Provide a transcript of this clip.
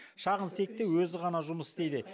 шағын цехте өзі ғана жұмыс істейді